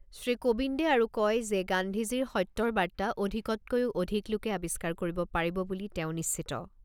শ্ৰী কোবিন্দে আৰু কয় যে, গান্ধীজীৰ সত্যৰ বাৰ্তা অধিকতকৈও অধিক লোকে আৱিষ্কাৰ কৰিব পাৰিব বুলি তেওঁ নিশ্চিত।